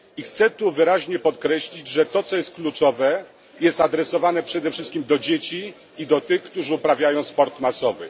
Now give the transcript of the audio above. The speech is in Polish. I chcę tu wyraźnie podkreślić, że to co jest kluczowe jest on skierowany przede wszystkim do dzieci i do tych, którzy uprawiają sport masowy.